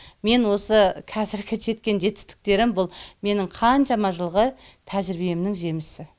мен осы қазіргі жеткен жетістіктерім бұл менің қаншама жылғы тәжірибемнің жемісі